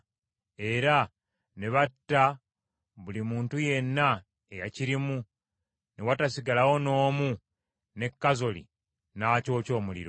Era ne batta buli muntu yenna eyakirimu ne watasigalawo n’omu ne Kazoli n’akyokya omuliro.